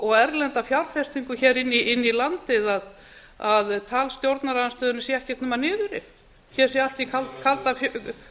og erlenda fjárfestingu hér inn í landið að tal stjórnarandstöðunnar sé ekkert nema niðurrif hér sé allt í